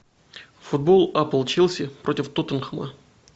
футбол апл челси против тоттенхэма